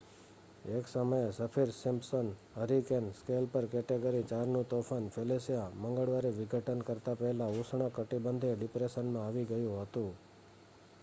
એક સમયે Saffir Simpson hurricane scale પર કેટેગરી 4નું તોફાન ફેલિસિયા મંગળવારે વિઘટન કરતા પહેલા ઉષ્ણકટિબંધીય ડિપ્રેશનમાં આવી ગયું હતું